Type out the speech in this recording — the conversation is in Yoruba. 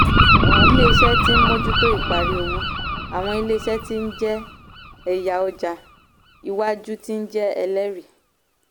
ilé-iṣẹ́ tí ń mójútó ìparí òwò - àwọn ilé-iṣẹ́ tí ń jẹ́ ẹ̀yà ọjà ìwájú tí ń jẹ́ ẹlẹ́rìí.